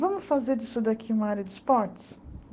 Vamos fazer disso daqui uma área de esportes?